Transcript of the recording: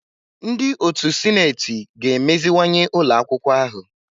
Ndị otu sineti ga-emeziwanye ụlọ akwụkwọ ahụ.